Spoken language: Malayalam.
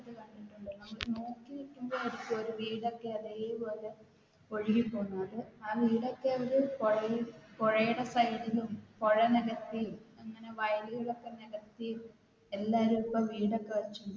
ഒഴുകിപ്പോകുന്ന കൊണ്ട് ആ വീടൊക്കെ അവർ പുഴപുഴയുടെ ലും പുഴ നികത്തി അങ്ങനെ വയലുകൾ ഒക്കെ നികത്തി എല്ലാരും ഇപ്പൊ വീടൊക്കെ വെച്ചും